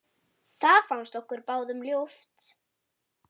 Það fannst okkur báðum ljúft.